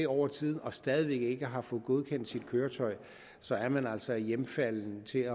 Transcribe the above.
over tiden og stadig væk ikke har fået godkendt sit køretøj så er man altså hjemfalden til